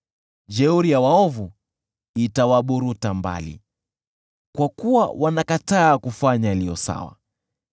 Jeuri ya waovu itawaburuta mbali, kwa kuwa wanakataa kufanya yaliyo sawa.